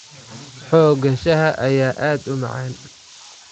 Xoogga shaaha ayaa aad u macaan.